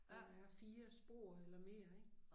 Hvor der er 4 spor eller mere ik